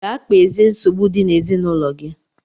Gaa kpezie nsogbu dị n'ezinaụlọ gị!